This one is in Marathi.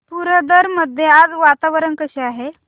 पुरंदर मध्ये आज वातावरण कसे आहे